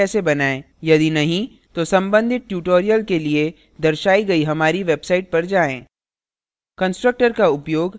यदि नहीं तो संबधित tutorials के लिए दर्शाई गयी हमारी website पर जाएँ